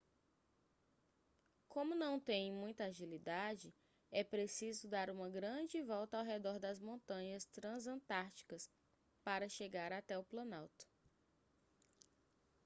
como não têm muita agilidade é preciso dar uma grande volta ao redor das montanhas transantárticas para chegar até o planalto